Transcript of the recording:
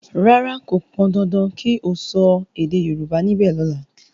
ràrá kò pọn dandan kí o so èdè yorùbá nibe lola!